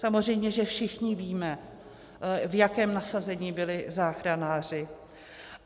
Samozřejmě že všichni víme, v jakém nasazení byli záchranáři.